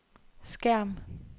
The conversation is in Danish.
skærm